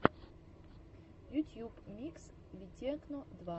ютьюб микс витекно два